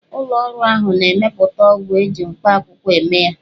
Ụlọ ọrụ ahụ na-emepụta ọgwụ ji mkpakwụkwọ eme ya.